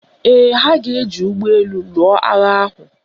Ee, ha ga-eji ụgbọelu lụọ agha ahụ